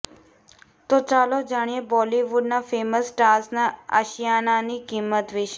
તો ચાલો જાણીએ બોલિવૂડના ફેમસ સ્ટાર્સના આશિયાનાની કિંમત વીશે